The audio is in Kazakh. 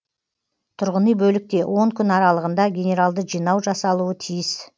тұрғыни бөлікте он күн аралығында генералды жинау жасалуы тиіс